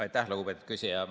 Aitäh, lugupeetud küsija!